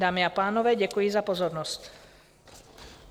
Dámy a pánové, děkuji za pozornost.